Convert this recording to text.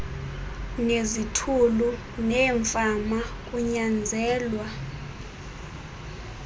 nezithulu neemfama kunyanzelwa